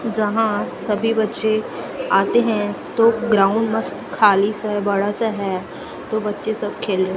जहां सभी बच्चे आते हैं तो ग्राउंड मस्त खाली सा है बड़ा सा है तो बच्चे सब खेल रहे--